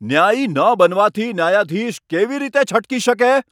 ન્યાયી ન બનવાથી ન્યાયાધીશ કેવી રીતે છટકી શકે?